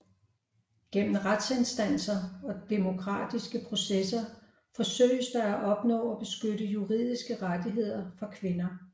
Gennem retsinstanser og demokratiske processer forsøges der at opnå og beskytte juridiske rettigheder for kvinder